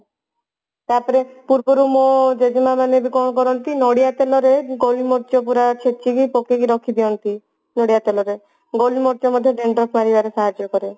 ତ ପରେ ପୂର୍ବରୁ ମୋ ଜେଜେମା ମାନେ କଣ କରନ୍ତି ନଡିଆ ତେଲରେ ଗୋଲମରୀଚ ପୁରା ଛେଚିକି ପକେଇକି ରଖିଦିଅନ୍ତି ନଡିଆ ତେଲରେ ଗୋଲମରୀଚ ମଧ୍ୟ dandruff ମାରିବାରେ ସାହାଜ୍ଯ କରେ